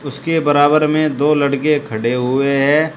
इसके बराबर में दो लड़के खड़े हुए हैं।